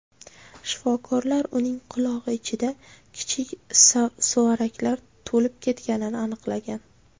Shifokorlar uning qulog‘i ichida kichik suvaraklar to‘lib ketganini aniqlagan.